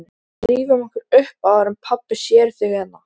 Sú sýn svipti síra Björn allri ró sinni.